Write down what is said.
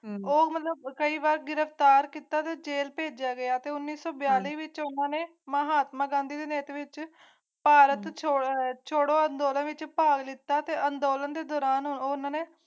ਮੈਨੂੰ ਮਨੋਂ ਪਰਿਵਾਰ ਗਿਰਫਤਾਰ ਕੀਤਾ ਜੇਲ੍ਹ ਭੇਜਿਆ ਗਿਆ ਤਾਂ ਇਸ ਬਾਰੇ ਵਿਚ ਮਹਾਤਮਾ ਗਾਂਧੀ ਭਾਰਤ ਛੋੜੋ ਥੋੜ੍ਹਾ-ਥੋੜ੍ਹਾ ਵਿੱਚ ਪਾ ਦਿੱਤਾ ਤੇ ਅੰਦੋਲਨ ਦੌਰਾਨ ਉਨ੍ਹਾਂ ਨੇ